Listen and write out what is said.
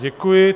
Děkuji.